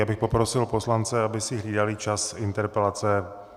Já bych poprosil poslance, aby si hlídali čas interpelace.